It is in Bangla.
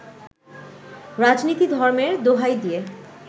রাজনীতি ধর্মের দোহাই দিয়ে